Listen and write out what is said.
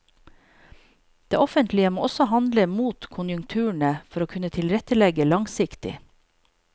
Det offentlige må også handle mot konjunkturene for å kunne tilrettelegge langsiktig.